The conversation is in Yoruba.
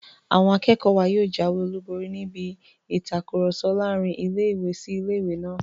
Àwọn akẹ́kọ̀ọ́ wa yóò jáwé olùborí níbi ìtakùrọ̀sọ láàrin ilé-ìwé sí ilé-ìwé náà